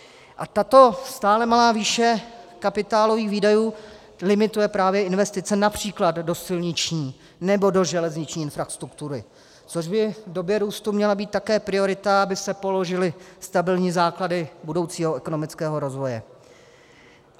A tato stále malá výše kapitálových výdajů limituje právě investice například do silniční nebo do železniční infrastruktury, což by v době růstu měla být také priorita, aby se položily stabilní základy budoucího ekonomického rozvoje.